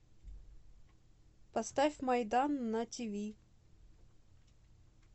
поставь майдан на тиви